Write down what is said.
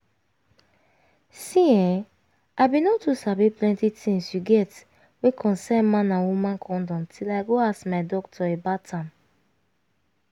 see[um]i bin no too sabi plenty tins you get wey concern man and woman condom till i go ask my doctor about am